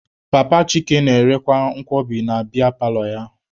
Papa Chike na-erekwa nkwobi na biya paalọ ya.